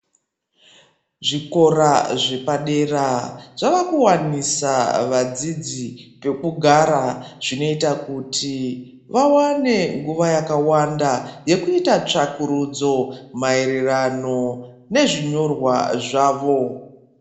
Zvikora zvepadera zvavakuwanisa vadzidzi pekugara zvinoita kuti vawane nguwa yakawanda yekuita tsvakurudzo mairirano nezvinyorwa zvavo.